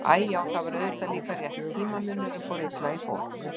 Æ, já, það var auðvitað líka rétt, tímamunurinn fór illa í fólk.